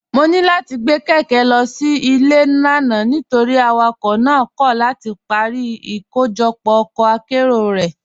Mọ̀ ní láti gbé kékè lọ sí ilẹ̀ lánà̀ nítorí awakọ̀ náà kọ̀ láti parí ìkọ̀jọpọ̀ ọkọ̀ àkéró rẹ́.